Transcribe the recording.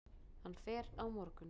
Hann fer á morgun.